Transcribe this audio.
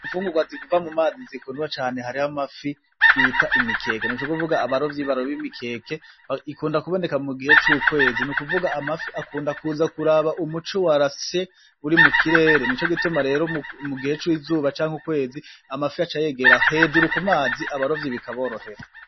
Imfungurwa ziva mu mazi zikundwa cane ,harih'amafi bita imikeke n'ukuvuga abarovyi baroba imikeke ikunda kuboneka mugihe c'ukwezi akunda kuza kuraba umuco warase Uri mukirere nico gituma rero mugihe c'izuba cank'ukwezi amafi aca yegera hejuru ku mazi abarovyi bikaborohera.